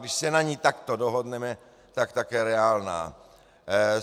Když se na ní takto dohodneme, tak také reálná.